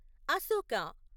Ashoka